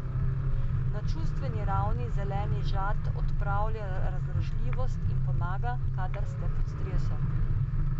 Na čustveni ravni zeleni žad odpravlja razdražljivost in pomaga, kadar ste pod stresom.